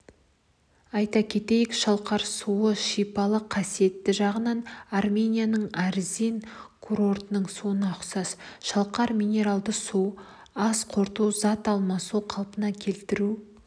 айта кетейік шалқар суы шипалық қасиеті жағынан арменияның арзни курортының суына ұқсас шалқар минералды суы ас қорыту зат алмасуды қалпына келтіру